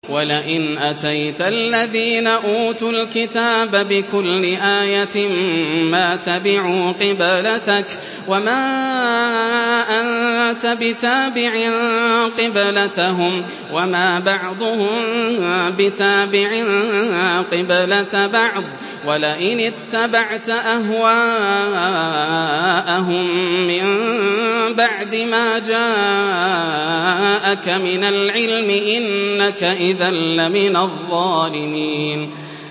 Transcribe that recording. وَلَئِنْ أَتَيْتَ الَّذِينَ أُوتُوا الْكِتَابَ بِكُلِّ آيَةٍ مَّا تَبِعُوا قِبْلَتَكَ ۚ وَمَا أَنتَ بِتَابِعٍ قِبْلَتَهُمْ ۚ وَمَا بَعْضُهُم بِتَابِعٍ قِبْلَةَ بَعْضٍ ۚ وَلَئِنِ اتَّبَعْتَ أَهْوَاءَهُم مِّن بَعْدِ مَا جَاءَكَ مِنَ الْعِلْمِ ۙ إِنَّكَ إِذًا لَّمِنَ الظَّالِمِينَ